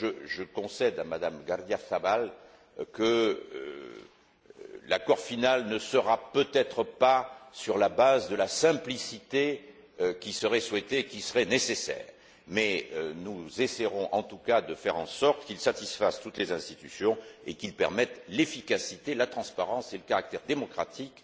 Je concède à M me Gardiazábal Rubial que l'accord final ne se fondera peut être pas sur la simplicité qui serait souhaitée et qui serait nécessaire, mais nous essaierons en tout cas de faire en sorte qu'il satisfasse toutes les institutions et qu'il permette l'efficacité, la transparence et le caractère démocratique